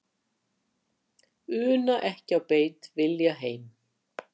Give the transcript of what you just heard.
Una ekki á beit, vilja heim.